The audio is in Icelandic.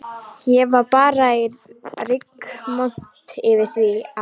Ég var bara rígmontin yfir því að